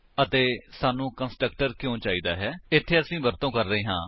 ਅਤੇ ਸਾਨੂੰ ਕੰਸਟਰਕਟਰ ਕਿਉਂ ਚਾਹੀਦਾ ਹੈ160 ਇੱਥੇ ਅਸੀ ਵਰਤੋ ਕਰ ਰਹੇ ਹਾਂ